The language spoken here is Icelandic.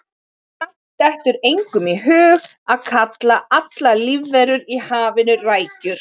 Samt dettur engum í hug að kalla allar lífverur í hafinu rækjur.